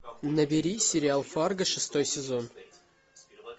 набери сериал фарго шестой сезон